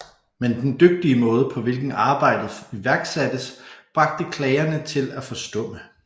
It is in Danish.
Men den dygtige måde på hvilken arbejdet iværksattes bragte klagerne til at forstumme